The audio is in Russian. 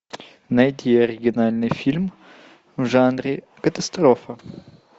найди оригинальный фильм в жанре катастрофа